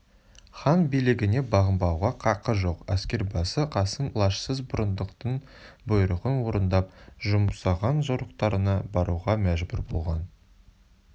хан билігіне бағынбауға қақы жоқ әскербасы қасым лажсыз бұрындықтың бұйрығын орындап жұмсаған жорықтарына баруға мәжбүр болған